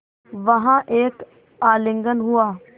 वहाँ एक आलिंगन हुआ